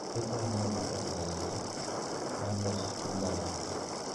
Chweko en yoo maber ahinya mar loso sub alot